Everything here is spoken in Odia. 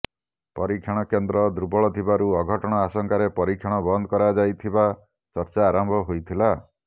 ପରୀକ୍ଷଣ କେନ୍ଦ୍ର ଦୁର୍ବଳ ଥିବାରୁ ଅଘଟଣ ଆଶଙ୍କାରେ ପରୀକ୍ଷଣ ବନ୍ଦ କରାଯାଇଥିବା ଚର୍ଚ୍ଚା ଆରମ୍ଭ ହୋଇଥିଲା